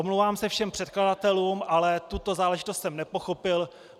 Omlouvám se všem předkladatelům, ale tuto záležitost jsem nepochopil.